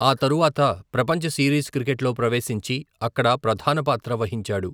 ఆ తరువాత ప్రపంచ సీరీస్ క్రికెట్లో ప్రవేశించి అక్కడ ప్రధాన పాత్ర వహించాడు.